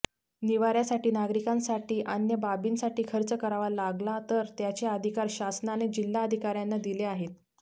निवाऱ्यातील नागरीकांसाठी अन्य बाबींसाठी खर्च करावा लागला तर त्याचे अधिकार शासनाने जिल्हाधिकाऱ्यांना दिले आहेत